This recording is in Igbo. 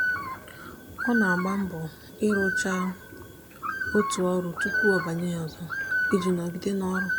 ọ na-agba mbọ ịrụcha otu ọrụ tụpụ ọ banye na ọzọ iji nọgide n'ọrụ.